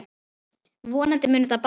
Vonandi mun þetta batna.